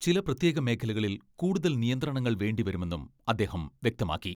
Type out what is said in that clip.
ചില പ്രത്യേക മേഖലകളിൽ കൂടുതൽ നിയന്ത്രണങ്ങൾ വേണ്ടിവരുമെന്നും അദ്ദേഹം വ്യക്തമാക്കി.